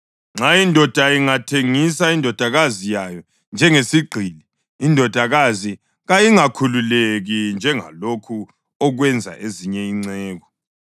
Nxa indoda ingathengisa indodakazi yayo njengesigqili, indodakazi kayingakhululeki njengalokho okwenza ezinye inceku.